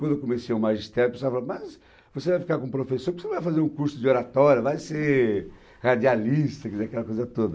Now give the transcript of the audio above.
Quando eu comecei o magistério, a pessoa falava, mas você vai ficar com o professor, porque você não vai fazer um curso de oratória, vai ser radialista, quer dizer, aquela coisa toda.